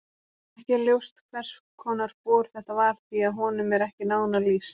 Ekki er ljóst hvers konar bor þetta var því að honum er ekki nánar lýst.